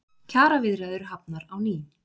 Kjaraviðræður hafnar á ný